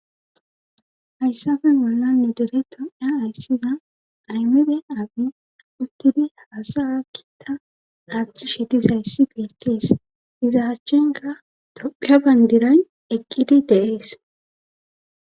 hayssafe bollani nu dere tophiya ayssida aymede aabiy uttidi haasaya kiita aaththishe dizayssi beettees iza achchenka tophiya bandiran eqqidi de7ees.